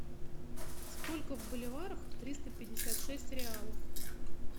сколько в боливарах триста пятьдесят шесть реалов